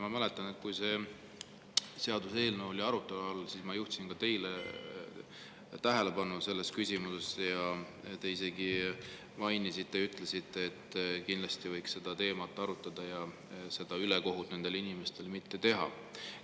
Ma mäletan, et kui see seaduseelnõu oli arutelu all, siis ma juhtisin ka teie tähelepanu sellele küsimusele ja te isegi ütlesite, et kindlasti võiks seda teemat arutada ja seda ülekohut nendele inimestele mitte teha.